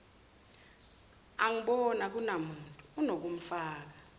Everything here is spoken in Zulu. angiboni akunamuntu unokumfaka